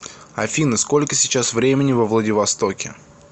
афина сколько сейчас времени во владивостоке